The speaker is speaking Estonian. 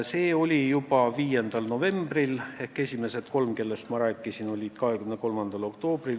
Reinsalu oli komisjonis 5. novembril, esimesed kolm, kellest ma rääkisin, 23. oktoobril.